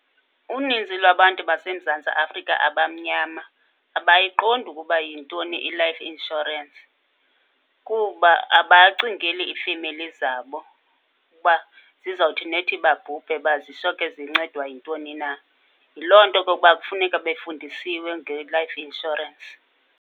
Uninzi lwabantu baseMzantsi Afrika abamnyama abayiqondi ukuba yintoni i-life insurance kuba abacingeli ifemeli zabo ukuba zizawuthi nethi babhubhe uba zincedwa yintoni na. Yiloo nto ke ukuba kufuneka befundisiwe nge-life insurance.